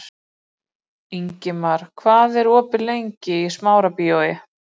Ingimar, hvað er opið lengi í Smárabíói?